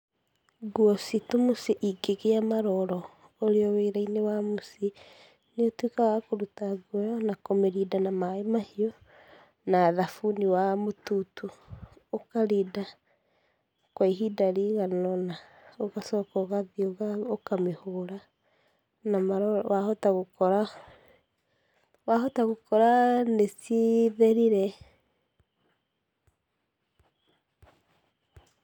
Nguo citũ mũciĩ ingĩgia maroro ũrĩ o-wĩra-inĩ wa mũciĩ nĩ ũtuĩkaga wa kũruta nguo ĩyo na kũmĩrinda na maĩ mahio, na thabuni wa mũtutu, ũkarinda kwa ihinda rĩigana ũna, ũgacoka ũgathiĩ ũkamĩhũra na maroro, wahota gũkora, wahota gũkora nĩ citherire.